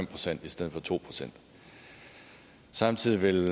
procent i stedet for to procent samtidig vil